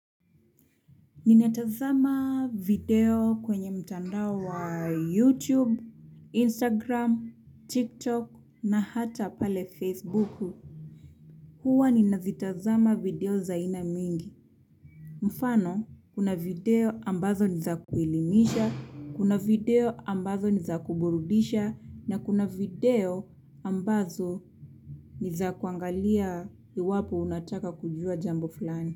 Ninatazama video kwenye mtandao wa YouTube, Instagram, TikTok na hata pale Facebook huwa ninazitazama video za aina mingi. Mfano, kuna video ambazo ni za kuelimisha, kuna video ambazo ni za kuburudisha na kuna video ambazo ni za kuangalia iwapo unataka kujua jambo fulani.